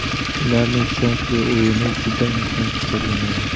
Ularning ishonchli o‘yini juda muhim hisoblanadi.